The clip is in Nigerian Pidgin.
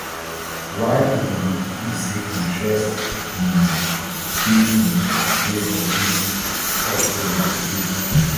why e be say interest um still um dey for dis soothsayer today